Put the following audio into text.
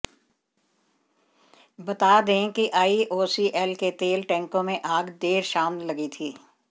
बता दे कि आईओसीएल के तेल टेंकों में आग देर शाम लगी थी